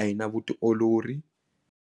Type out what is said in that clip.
a yi na vutiolori.